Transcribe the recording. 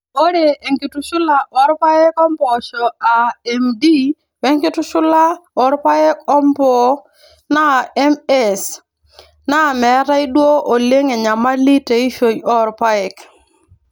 Ore enkitushula oo irpaek o mpoosho aa MD wenkitushula oorpaek oompoo aa MS naa metaa duoo oleng enyamali teishoi oo irpaek.